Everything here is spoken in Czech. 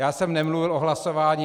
Já jsem nemluvil o hlasování.